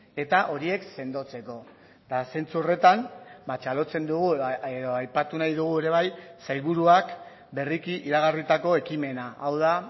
eta horiek sendotzeko eta zentzu horretan txalotzen dugu edo aipatu nahi dugu ere bai sailburuak berriki iragarritako ekimena hau da